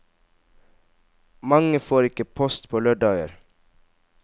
Mange får ikke post på lørdager.